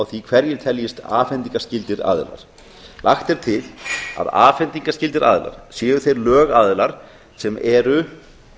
því hverjir teljist afhendingarskyldir aðilar lagt er til að afhendingarskyldir aðilar séu þeir lögaðilar sem eru